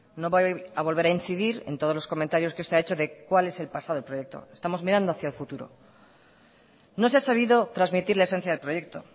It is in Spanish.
no voy a volver a incidir en todos los comentarios que usted ha hecho de cuál es el pasado del proyecto estamos mirando hacia el futuro no se ha sabido transmitir la esencia del proyecto